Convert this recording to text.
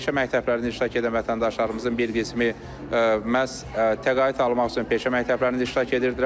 Peşə məktəblərində iştirak edən vətəndaşlarımızın bir qismi məhz təqaüd almaq üçün peşə məktəblərində iştirak edirdilər.